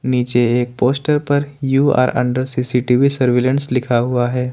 नीचे एक पोस्टर पर यू आर अंडर सी_सी_टी_वी_सर्विलेंस लिखा हुआ है।